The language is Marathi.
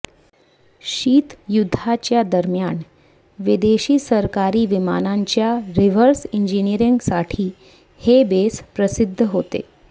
शीतयुद्धाच्या दरम्यान विदेशी सरकारी विमानांच्या रिव्हर्स इंजिनियरिंगसाठी हे बेस प्रसिद्ध होते